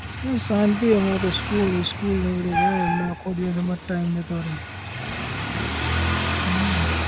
બસ શાંતિ અમારે તો school school ને બધે જાય એટલે આખો દિવસ અમાર time જતો રે હમ